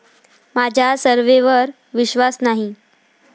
माझा सर्व्हेवर विश्वास नाही.